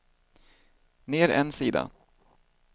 ner en sida